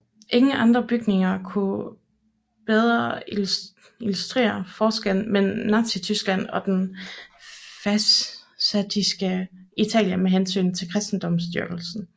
Ingen andre bygninger kunne bedre illustrere forskellen mellem Nazityskland og det fascistiske Italien med hensyn til kristendomsdyrkelse